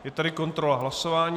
Je tady kontrola hlasování.